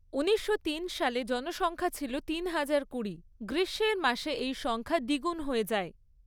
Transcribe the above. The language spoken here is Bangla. উনিশশো তিন সালে জনসংখ্যা ছিল তিন হাজার কুড়ি, গ্রীষ্মের মাসে এই সংখ্যা দ্বিগুণ হয়ে যায়।